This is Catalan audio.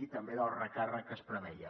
i també del recàrrec que es preveia